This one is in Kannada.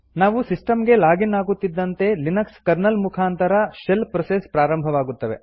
ನಾವು ಸಿಸ್ಟಂ ಗೆ ಲಾಗ್ ಇನ್ ಆಗುತ್ತಿದ್ದಂತೆ ಲಿನಕ್ಸ್ ಕರ್ನಲ್ ಮುಖಾಂತರ ಶೆಲ್ ಪ್ರೋಸೆಸ್ ಪ್ರಾರಂಭವಾಗುತ್ತದೆ